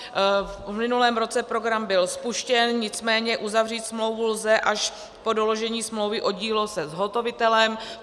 V minulém roce program byl spuštěn, nicméně uzavřít smlouvu lze až po doložení smlouvy o dílo se zhotovitelem.